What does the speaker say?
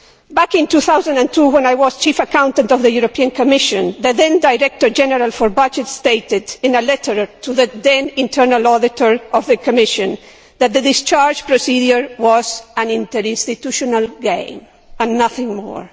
Back in 2002, when I was Chief Accountant of the European Commission, the then Director General for Budgets stated, in a letter to the then internal auditor of the Commission, that the discharge procedure was an interinstitutional game and nothing more.